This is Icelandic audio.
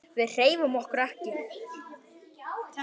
Við hreyfum okkur ekki.